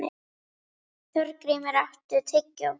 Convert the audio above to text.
Þorgrímur, áttu tyggjó?